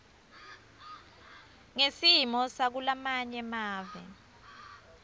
ngesimo sakulamanye mave